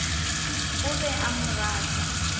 o be a mo rata